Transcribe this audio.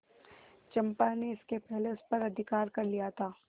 चंपा ने इसके पहले उस पर अधिकार कर लिया था